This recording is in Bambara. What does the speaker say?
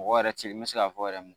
Mɔgɔ yɛrɛ tɛ ye n bɛ se k'a fɔ yɛrɛ mun